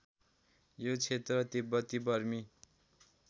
यो क्षेत्र तिब्बती बर्मी